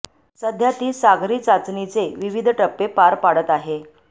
सध्या ती सागरी चाचणीचे विविध टप्पे पार पाडत आहे